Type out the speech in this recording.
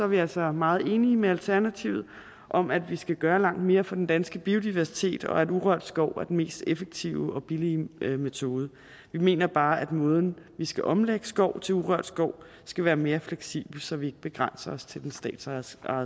vi altså meget enige med alternativet om at vi skal gøre langt mere for den danske biodiversitet og at urørt skov er den mest effektive og billige metode vi mener bare at måden vi skal omlægge skov til urørt skov skal være mere fleksibel så vi ikke begrænser os til den statsejede